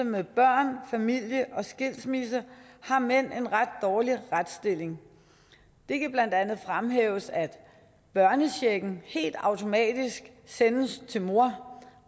med børn familie og skilsmisse har mænd en ret dårlig retsstilling det kan blandt andet fremhæves at børnechecken helt automatisk sendes til mor